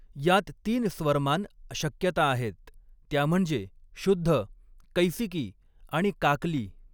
यात तीन स्वरमान शक्यता आहेत, त्या म्हणजे शुध्द, कैसिकी आणि काकली.